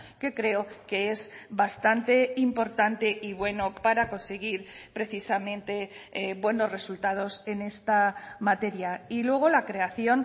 que creo que es bastante importante y bueno para conseguir precisamente buenos resultados en esta materia y luego la creación